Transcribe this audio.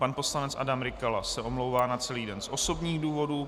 Pan poslanec Adam Rykala se omlouvá na celý den z osobních důvodů.